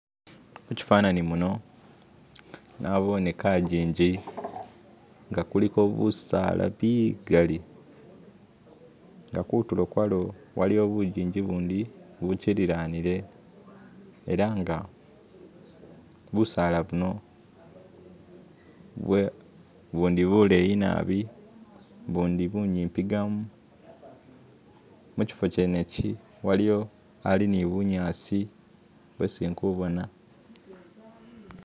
Muchifanani muno nabone kajinji nga kuliko busaala bigali inga kutulo kwalo waliyo bujinji bundi buchililanile elanga busaala buno bwe bundi buleyi naabi bundi bunyipigamo muchifo chenechi waliyo hali ni bunyasi bwesi indikubona